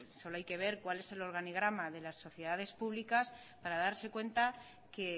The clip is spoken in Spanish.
solo hay que ver cuál es el organigrama de las sociedades públicas para darse cuenta que